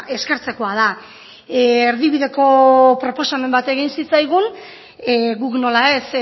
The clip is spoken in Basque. eskertzekoa da erdibideko proposamen bat egin zitzaigun guk nola ez